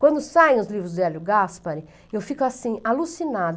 Quando saem os livros do Hélio Gaspari, eu fico assim, alucinada.